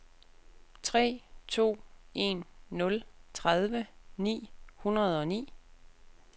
tre to en nul tredive ni hundrede og ni